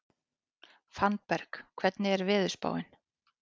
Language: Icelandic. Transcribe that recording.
Fannberg, hvernig er veðurspáin?